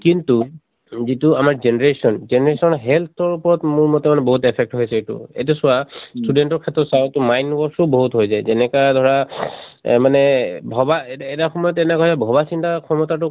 কিন্তু যিটো আমাৰ generation, generation ৰ health ৰ ওপৰত মৰ মতে মানে বহুত affect হৈছে এইটো। এইটো চোৱা student ৰ ক্ষেত্ৰত চাওঁক mind wash ও বহুত হৈ যায়। যেনেকা ধৰা এহ মানে ভবা এ এটা সময়ত এনকা হয় ভবা চিন্তা ক্ষমতাটো